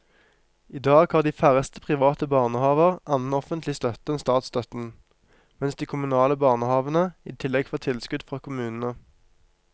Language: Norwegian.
I dag har de færreste private barnehaver annen offentlig støtte enn statsstøtten, mens de kommunale barnehavene i tillegg får tilskudd fra kommunene.